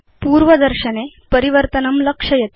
पूर्वदर्शनक्षेत्रे परिवर्तनं लक्षयतु